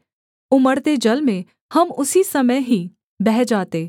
उमड़ते जल में हम उसी समय ही बह जाते